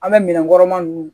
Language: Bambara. An bɛ minɛnkɔrɔma ninnu